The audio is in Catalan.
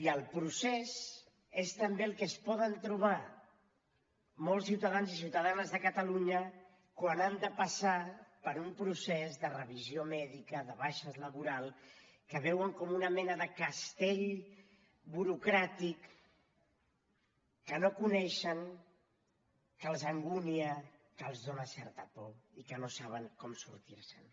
i el procés és també el que es poden trobar molts ciutadans i ciutadanes de catalunya quan han de passar per un procés de revisió mèdica de baixes laborals que veuen com una mena de castell burocràtic que no coneixen que els angunia que els fa certa por i que no saben com sortir se’n